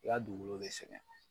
ka dugukolo bɛ sɛgɛn.